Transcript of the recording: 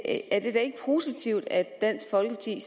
at dansk folkeparti